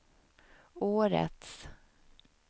årets